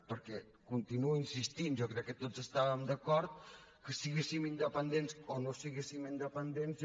perquè hi continuo insistint jo crec que tots estàvem d’acord que siguéssim independents o no siguéssim independents